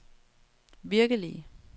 virkelige